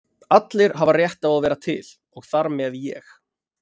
Allir hafa rétt á að vera til og þar með ég.